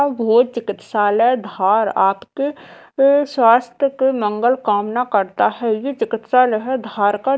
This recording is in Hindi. बहोत चिकित्सालय है धार आपके ये स्वस्थ के मंगल कामना करता है ये चिकित्सालय है धारका--